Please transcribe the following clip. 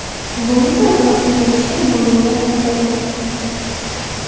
Bu esa atrofni ko‘rishda muammolar paydo qiladi.